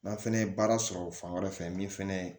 N'an fɛnɛ ye baara sɔrɔ fan wɛrɛ fɛ min fɛnɛ